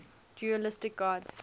dualistic gods